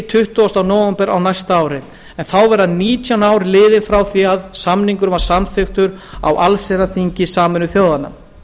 tuttugasta nóvember á næsta ári en þá verða nítján ár liðin frá því að sáttmálinn var samþykktur á allsherjarþingi sameinuðu þjóðanna